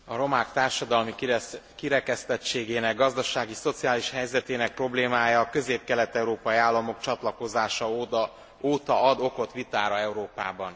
A romák társadalmi kirekesztettségének gazdasági, szociális helyzetének problémája a közép kelet európai államok csatlakozása óta ad okot vitára Európában.